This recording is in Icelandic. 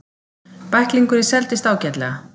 Bæklingurinn seldist ágætlega.